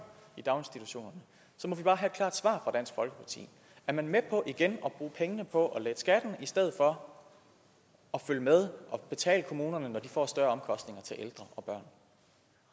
i daginstitutionerne så må vi bare have et klart svar fra dansk folkeparti er man med på igen at bruge pengene på at lette skatten i stedet for at følge med og betale kommunerne når de får større omkostninger til ældre